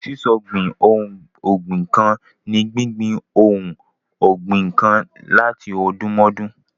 Ṣíṣọ̀gbìn ohun ọ̀gbìn kan ni gbíngbin ohun ọgbìn kan látọdúnmọ́dún.